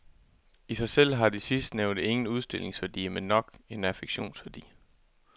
I sig selv har de sidstnævnte ingen udstillingsværdi, men nok en affektionsværdi.